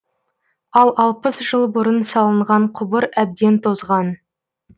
ал алпыс жыл бұрын салынған құбыр әбден тозған